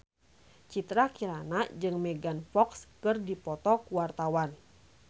Citra Kirana jeung Megan Fox keur dipoto ku wartawan